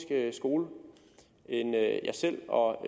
skole end jeg selv og